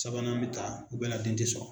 Sabanan be ta o bɛɛ la den te sɔ